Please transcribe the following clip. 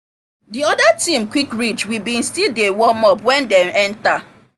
the other team quick reach we been still dey warm up when dem enter